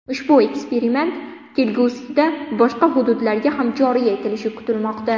Ushbu eksperiment kelgusida boshqa hududlarga ham joriy etilishi kutilmoqda.